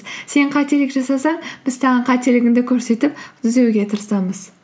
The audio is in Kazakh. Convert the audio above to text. сен қателік жасасаң біз саған қателігіңді көрсетіп түзеуге тырысамыз